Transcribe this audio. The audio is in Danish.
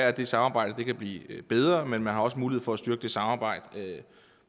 at det samarbejde kan blive bedre men man har også mulighed for at styrke samarbejdet